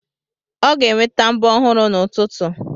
Ọ ga-enweta mbọ ọhụrụ n'ụtụtụ.